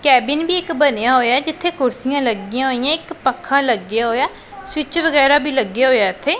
Cabin ਵੀ ਇੱਕ ਬਣਿਆ ਹੋਇਐ ਜਿੱਥੇ ਕੁਰਸੀਆਂ ਲੱਗੀਆਂ ਹੋਈਐਂ ਇੱਕ ਪੱਖਾ ਲੱਗਿਆ ਹੋਇਆ ਐ ਸਵਿੱਚ ਵਗੈਰਾ ਵੀ ਲੱਗੇ ਹੋਏ ਆ ਇੱਥੇ।